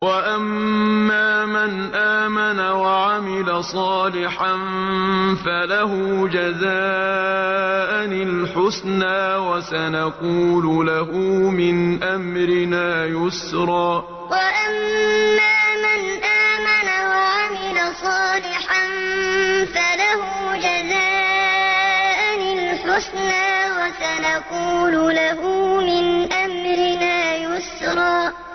وَأَمَّا مَنْ آمَنَ وَعَمِلَ صَالِحًا فَلَهُ جَزَاءً الْحُسْنَىٰ ۖ وَسَنَقُولُ لَهُ مِنْ أَمْرِنَا يُسْرًا وَأَمَّا مَنْ آمَنَ وَعَمِلَ صَالِحًا فَلَهُ جَزَاءً الْحُسْنَىٰ ۖ وَسَنَقُولُ لَهُ مِنْ أَمْرِنَا يُسْرًا